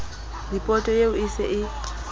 ripoto eo e se e